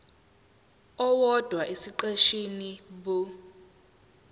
owodwa esiqeshini b